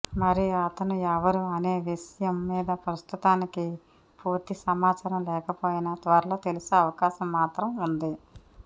మరి అతను ఎవరు అనే విషయం మీద ప్రస్తుతానికి పూర్తి సమాచారం లేకపోయినా త్వరలో తెలిసే అవకాశం మాత్రం ఉంది